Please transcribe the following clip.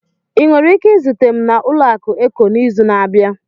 Ị nwere ike izute m na ụlọaku Eco n'izu na-abịa?